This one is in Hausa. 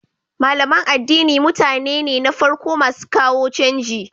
Malaman addini mutane ne na farko masu kawo canji